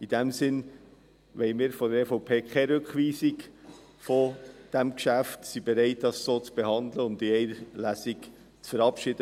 In diesem Sinn wollen wir von der EVP keine Rückweisung dieses Geschäfts und sind bereit, dies so zu behandeln und in einer Lesung zu verabschieden.